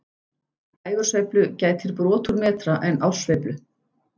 Dægursveiflu gætir brot úr metra en árssveiflu